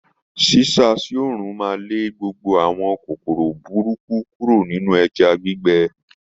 Sisa sí òòrùn máa lé gbogbo àwọn kòkòrò burúkú kúrò nínú ẹja gbígbẹ.